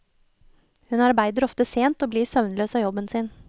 Hun arbeider ofte sent og blir søvnløs av jobben sin.